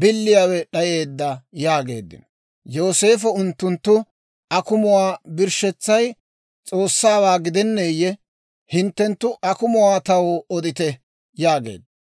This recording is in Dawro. biliyaawe d'ayeedda» yaageeddino. Yooseefo unttuntta, «Akumuwaa biletsay S'oossawaa gidenneeyyee? Hinttenttu akumuwaa taw odite» yaageedda.